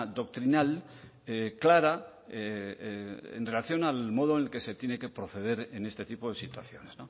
doctrinal clara en relación al modo en el que se tiene que proceder en este tipo de situaciones